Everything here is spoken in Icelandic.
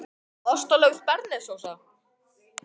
Nei, og það gerir opinberunin ekki heldur. líttu nú á þessa tvo.